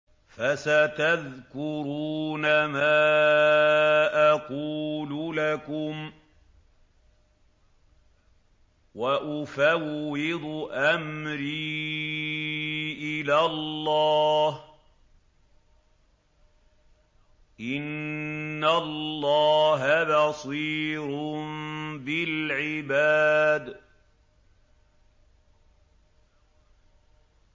فَسَتَذْكُرُونَ مَا أَقُولُ لَكُمْ ۚ وَأُفَوِّضُ أَمْرِي إِلَى اللَّهِ ۚ إِنَّ اللَّهَ بَصِيرٌ بِالْعِبَادِ